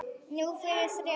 Núna fyrir þrjá.